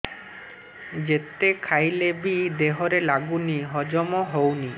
ଯେତେ ଖାଇଲେ ବି ଦେହରେ ଲାଗୁନି ହଜମ ହଉନି